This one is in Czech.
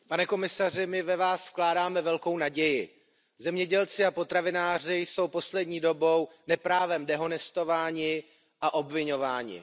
Paní předsedající, pane komisaři, my ve Vás vkládáme velkou naději. Zemědělci a potravináři jsou poslední dobou neprávem dehonestováni a obviňováni.